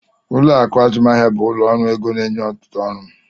Ụlọ akụ azụmahịa bụ ụlọ ọrụ ego na-enye ọtụtụ ọrụ.